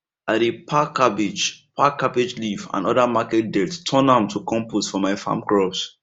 i dey pack cabbage pack cabbage leaf and other market dirt turn am to compost for my farm crops